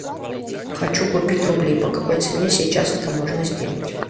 хочу купить рубли по какой цене сейчас это можно сделать